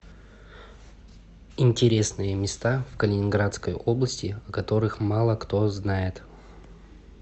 интересные места в калининградской области о которых мало кто знает